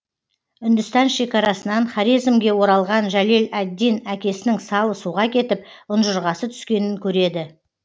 үндістан шекарасынан хорезмге оралған жәлел әд дин әкесінің салы суға кетіп ұншырғасы түскенін көреді